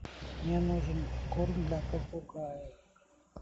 мне нужен корм для попугая